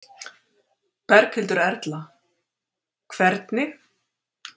Berghildur Erla: Hvernig?